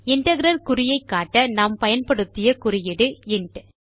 integral குறியை காட்ட நாம் பயன்படுத்திய குறியீடு இன்ட்